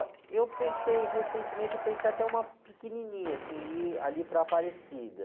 Ó, eu pensei recentemente, eu pensei até uma pequenininha, assim, ir ali para Aparecida.